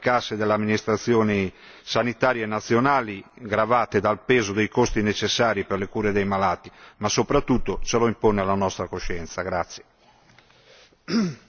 Ce lo chiedono in particolare le casse delle amministrazioni sanitarie nazionali, gravate dal peso dei costi necessari per le cure dei malati, ma soprattutto ce lo impone la nostra coscienza.